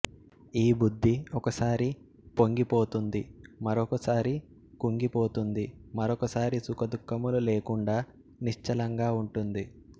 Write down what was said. ఈ బుద్ధి ఒకసారి పొంగిపోతుంది మరొక సారి కుంగిపోతుంది మరొకసారి సుఖదుఃఖములు లేకుండా నిశ్చలంగా ఉంటుంది